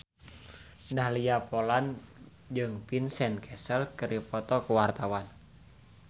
Dahlia Poland jeung Vincent Cassel keur dipoto ku wartawan